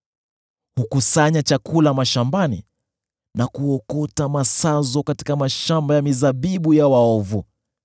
Hukusanya chakula mashambani na kuokota masazo katika mashamba ya mizabibu ya waovu.